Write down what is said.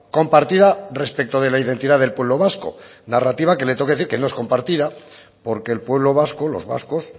compartida respeto de la identidad del pueblo vasco narrativa que le tengo que decir que no es compartida porque el pueblo vasco los vascos